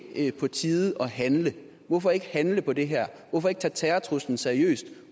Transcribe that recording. ikke på tide at handle hvorfor ikke handle på det her hvorfor ikke tage terrortruslen seriøst